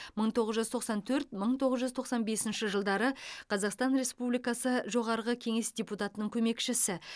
мың тоғыз жүз тоқсан төрт мың тоғыз жүз тоқсан бесінші жылдары қазақстан республикасы жоғарғы кеңес депутатының көмекшісі